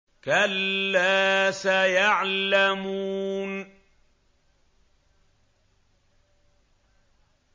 كَلَّا سَيَعْلَمُونَ